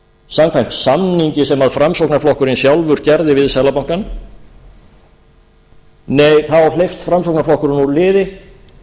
samkvæmt samningi sem framsóknarflokkurinn sjálfur gerði við seðlabankann þá framsóknarflokkurinn úr liði